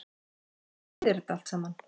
Hvað þýðir þetta allt saman